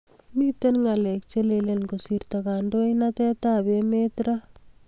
Miten ngalek che lele kosirto kandoitenab emet raa